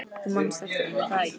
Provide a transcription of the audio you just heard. Þú manst eftir henni, er það ekki?